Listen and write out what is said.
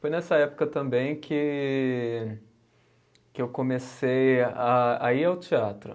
Foi nessa época também que que eu comecei a a ir ao teatro.